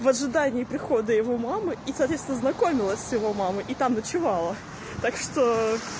в ожидании прихода его мамы и соответственно знакомилась с его мамой и там ночевала так что